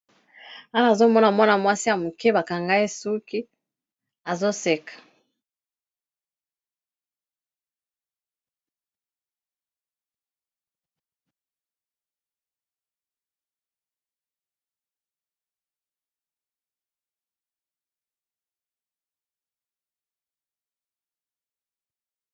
Awa na zomona mwana-mwasi ya moke bakangai suki azoseka